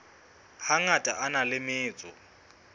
hangata a na le metso